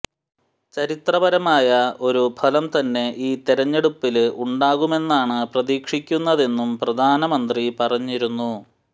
ചരിത്രപരമായ ഒരു ഫലം തന്നെ ഈ തെരഞ്ഞെടുപ്പില് ഉണ്ടാകുമെന്നാണ് പ്രതീക്ഷിക്കുന്നതെന്നും പ്രധാനമന്ത്രി പറഞ്ഞിരുന്നു